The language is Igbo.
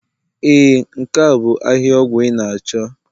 Ee nke a bu ahihia ọgwụ ị na-achọ